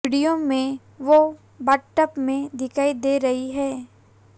video में वो bathtub में दिखाई दे रही हैं